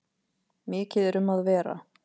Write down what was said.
Mikið er um að vera.